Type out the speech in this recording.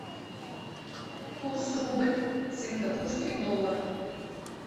курс рубль сингапурский доллар